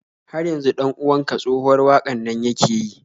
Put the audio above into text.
Har yanzu 'dan uwan ka tsohuwar waƙar nan yake yi?